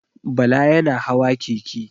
Bala yana hawa keke.